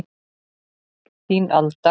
Þín Alda